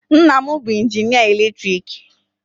Nna m bụ injinịa eletriki.